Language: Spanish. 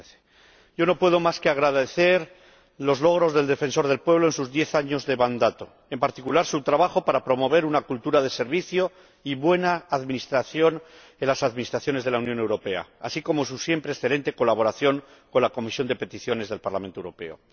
2013. Yo no puedo más que agradecer los logros del Defensor del Pueblo Europeo en sus diez años de mandato, en particular su trabajo para promover una cultura de servicio y buena administración de los órganos de la Unión Europea, así como su siempre excelente colaboración con la Comisión de Peticiones del Parlamento Europeo.